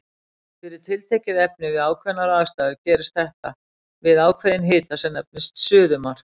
Fyrir tiltekið efni við ákveðnar aðstæður gerist þetta við ákveðinn hita sem nefnist suðumark.